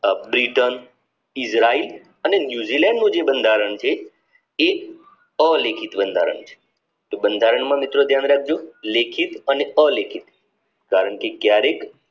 Britain Israel અને New Zealand નું જે બંધારણ છે એ અલેખિત બંધારણ છે તો બંધારણ માં મિત્રો ધ્યાન રાખજો લેખિત અને અલેખીત પરંતુ ક્યારેક